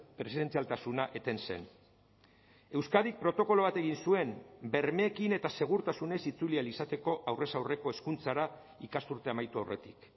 presentzialtasuna eten zen euskadik protokolo bat egin zuen bermeekin eta segurtasunez itzuli ahal izateko aurrez aurreko hezkuntzara ikasturtea amaitu aurretik